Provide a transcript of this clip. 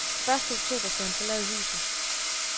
Første oktober skal han forlade huset.